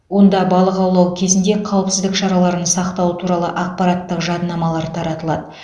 онда балық аулау кезінде қауіпсіздік шараларын сақтау туралы ақпараттық жадынамалар таратылады